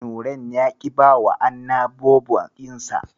Nurain ya ƙi bawa Anna Bobo ɗinsa.